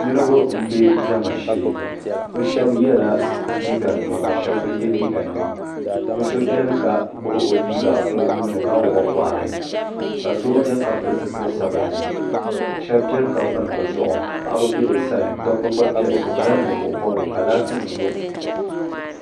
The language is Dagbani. Niriba m-be diɛma shee bɛ shɛba yela liiganima ka shɛba bɛ ye liiganima bɛ so beni ka gbubi o liiga o nuu ni ka wuɣi o bɔɣiri ka so beni ka pili zipili sabinli shɛba beni ka pini bɛ zuɣu paɣiba be bɛ sani dobba gba beni bɛ nyɛla Ninvuɣubɔbigu ka laatinima nyo.